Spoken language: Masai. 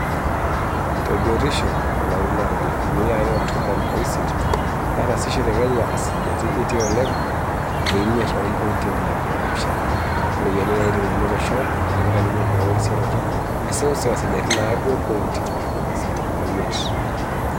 Tebiotisho, to lari loonkalifuni are o tomon o isiet netasishore Kenya esajati kiti oleng e imiet o mpointi tomon o pishana o ropiyiani naitijingu olosho tenintanyanyuk wenerisioroto e seuseu esajati e naudo o mpointi ntomoni isiet o miet.